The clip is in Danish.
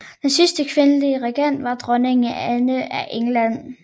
Den sidste kvindelige regent var dronning Anne af England